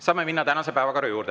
Saame minna tänase päevakorra juurde.